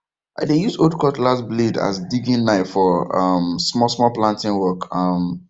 i dey use old cutlass blade as digging knife for um small small planting work um